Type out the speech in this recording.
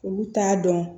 Olu t'a dɔn